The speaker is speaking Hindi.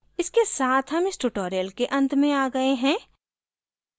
इसके साथ हम इस tutorial के अंत में आ गए हैं